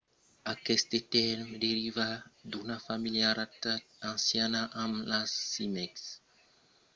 aqueste tèrme deriva d'una familiaritat anciana amb las címecs que son d’insèctes nautament adaptats per parasitar los umans